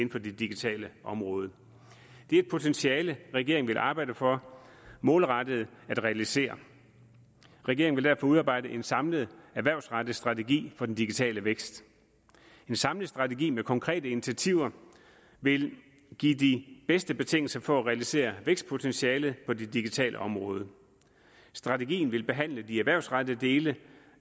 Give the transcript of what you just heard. på det digitale område det er et potentiale regeringen vil arbejde for målrettet at realisere regeringen vil derfor udarbejdede en samlet erhvervsrettet strategi for den digitale vækst en samlet strategi med konkrete initiativer vil give de bedste betingelser for at realisere vækstpotentialet på det digitale område strategien vil behandle de erhvervsrettede dele